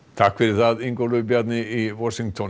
takk fyrir það Ingólfur Bjarni í Washington